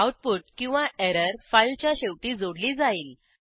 output किंवा error फाईलच्या शेवटी जोडली जाईल